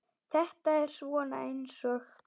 Þetta er svona eins og.